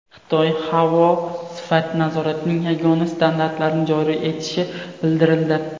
Xitoy havo sifati nazoratining yagona standartlarini joriy etishi bildirildi.